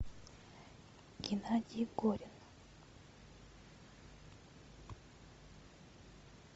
геннадий горин